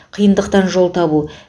қиындықтан жол табу